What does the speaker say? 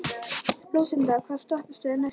Lúsinda, hvaða stoppistöð er næst mér?